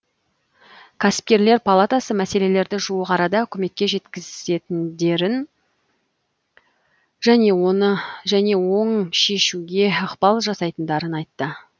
кәсіпкерлер палатасы мәселелерді жуық арада үкіметке жеткізетіндерін және оң шешуге ықпал жасайтындарын айтты